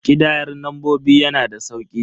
Ƙidayar lambobi yana da sauki.